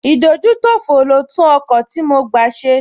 Ìdójútòfò mi ló tún ọkọ̀ tí mo gbá ṣe